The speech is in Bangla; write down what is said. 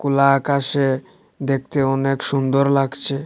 খোলা আকাশে দেখতে অনেক সুন্দর লাগছে।